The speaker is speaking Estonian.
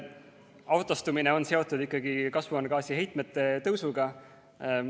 Autostumine on seotud ikkagi kasvuhoonegaaside heitmete tõusuga.